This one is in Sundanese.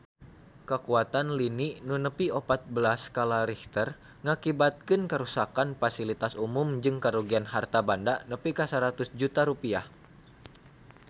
Kakuatan lini nu nepi opat belas skala Richter ngakibatkeun karuksakan pasilitas umum jeung karugian harta banda nepi ka 100 juta rupiah